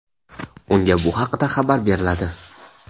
unga bu haqida xabar beriladi.